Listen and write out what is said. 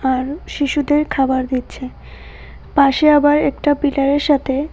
আর শিশুদের খাবার দিচ্ছে পাশে আবার একটা পিলারের সাথে--